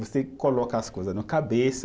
Você coloca as coisa na cabeça